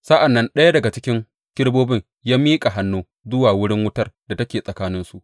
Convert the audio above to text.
Sa’an nan ɗaya daga cikin kerubobin ya miƙa hannu zuwa wurin wutar da take tsakaninsu.